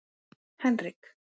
Henrik